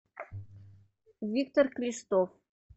виктор крестов